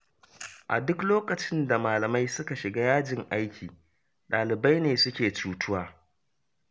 A duk lokacin da malamai suka shiga yajin aiki, ɗalibai ne suke cutuwa